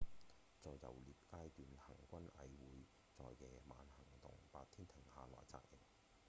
在游獵階段行軍蟻會在夜晚行動白天停下來紮營